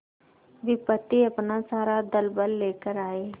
विपत्ति अपना सारा दलबल लेकर आए